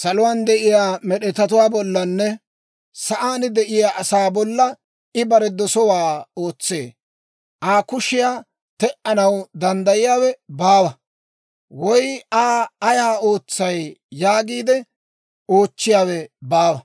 Saluwaan de'iyaa med'etatuwaa bollanne sa'aan de'iyaa asaa bolla I bare dosowaa ootsee. Aa kushiyaa te"anaw danddayiyaawe baawa, woy Aa Ayaa ootsay? yaagiide oochchiyaawe baawa.